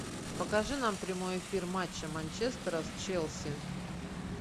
покажи нам прямой эфир матча манчестера с челси